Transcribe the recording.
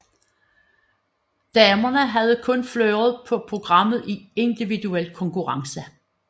Damerne havde kun fleuret på programmet i individuel konkurrence